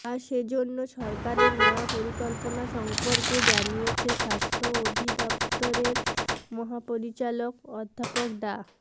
আর সেজন্য সরকারের নেওয়া পরিকল্পনা সম্পর্কে জানিয়েছেন স্বাস্থ্য অধিদফতরের মহাপরিচালক অধ্যাপক ডা